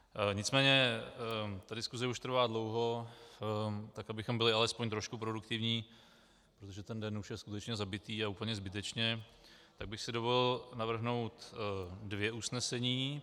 Nicméně ta diskuse už trvá dlouho, tak abychom byli alespoň trošku produktivní, protože ten den už je skutečně zabitý, a úplně zbytečně, tak bych si dovolil navrhnout dvě usnesení.